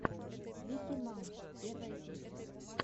вики маус первая серия